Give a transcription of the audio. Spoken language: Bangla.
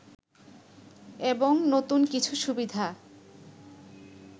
এবং নতুন কিছু সুবিধা